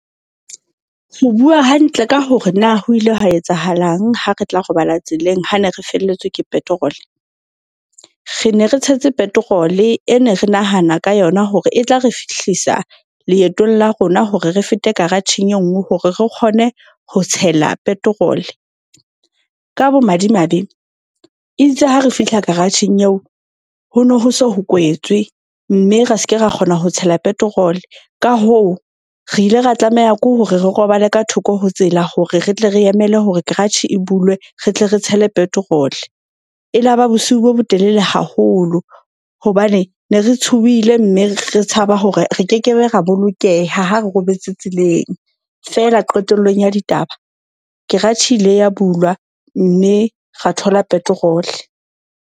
Ho bua hantle ka hore na ho ile ha etsahalang ha re tla robala tseleng, ha ne re felletswe ke petrol. Re ne re tshetse petrol-e e ne re nahana ka yona, hore e tla re fihlisa leetong la rona hore re fete karatjheng e nngwe hore re kgone ho tshela petrol. Ka bo madimabe itse ha re fihla garage-eng eo ho no ho se ho kwetse. Mme ra ske ra kgona ho tshela petrol. Ka hoo, re ile ra tlameha ke hore re robale ka thoko ho tsela hore re tle re emele hore kratjhe e bulwe, re tle re tshele petrol. E laba bosiu bo botelele haholo hobane ne re tshohile. Mme re tshaba hore re kekebe ra bolokeha ha re robetse tseleng. Feela qetellong ya ditaba, keratjhe ile ya bulwa mme ra thola petrol.